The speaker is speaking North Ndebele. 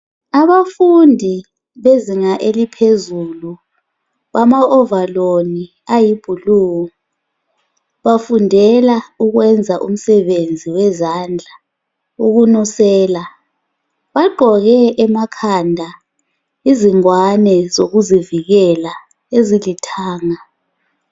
Abafundi bezinga eliphezulu bama ovaloli ayi"blue" bafundela ukwenza umsebenzi wezandla ukunusela. Bagqoke emakhanda izingwane zokuzivikela ezilithanga.